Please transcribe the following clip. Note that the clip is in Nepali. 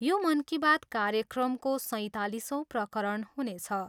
यो मन की बात कार्यक्रमको सैतालिसौँ प्रकरण हुनेछ।